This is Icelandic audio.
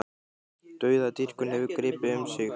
Dauðadýrkun hefur gripið um sig í